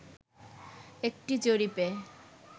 একটি জরিপে